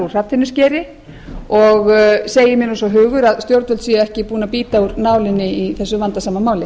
hrafntinnuskeri og segir mér svo hugur að stjórnvöld séu ekki búin að bíta úr nálinni í þessu vandasama máli